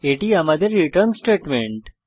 এটি আমাদের return statement